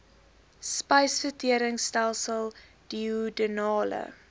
spysvertering stelsel duodenale